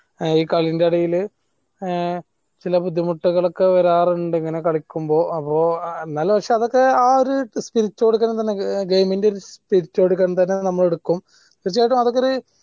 ഈ കളിൻ്റെ ഇടയിൽ ആഹ് ചില ബുദ്ധിമുട്ടൊക്കെ വരാറുണ്ട് ഇങ്ങനെ കളിക്കുമ്പോ എന്നാലും പക്ഷെ അതൊക്കെ ആ ഒരു spirit കൊടുക്കണമെന്നുണ്ടെങ്കിൽ game ൻ്റെ ഒരു spirit നമ്മൾ എടുക്കും പക്ഷെ അത്തേക്കൊരു